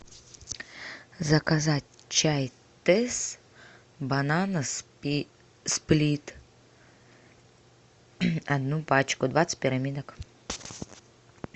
заказать чай тесс банана сплит одну пачку двадцать пирамидок